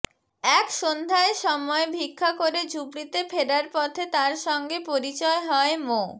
এক সন্ধ্যায় সময় ভিক্ষা করে ঝুপড়িতে ফেরার পথে তার সঙ্গে পরিচয় হয় মো